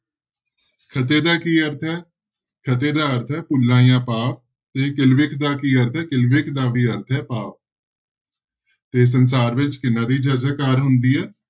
ਖਤੇ ਦਾ ਕੀ ਅਰਥ ਹੈ ਖਤੇ ਦਾ ਅਰਥ ਹੈ ਭੁੱਲਾਂ ਜਾ ਪਾਪ ਤੇ ਕਿਲਬਿਖ ਦਾ ਕੀ ਅਰਥ ਹੈ, ਕਿਲਬਿਖ ਦਾ ਵੀ ਅਰਥ ਹੈ ਪਾਪ ਤੇ ਸੰਸਾਰ ਵਿੱਚ ਕਿਹਨਾਂ ਦੀ ਜੈ ਜੈਕਾਰ ਹੁੰਦੀ ਹੈ?